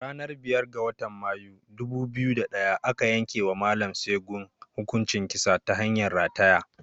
A ranar biyar ga watan Mayu, ɗubu biyu da ɗaya aka yankewa Mallam Segun hukuncin kisa ta hanyar rataya.